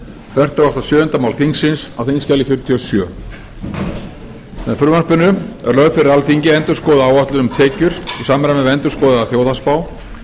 fertugasta og sjöunda mál þingsins á þingskjali fjörutíu og sjö með frumvarpinu er lögð fyrir alþingi endurskoðuð áætlun um tekjur í samræmi við endurskoðaða þjóðhagsspá